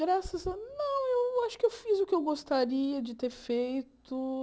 Graças a... Não, eu acho que eu fiz o que eu gostaria de ter feito.